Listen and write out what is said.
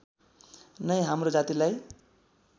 नै हाम्रो जातिलाई